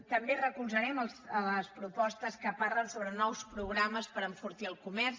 també recolzarem les propostes que parlen sobre nous programes per enfortir el comerç